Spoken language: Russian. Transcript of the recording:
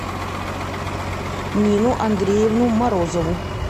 нину андреевну морозову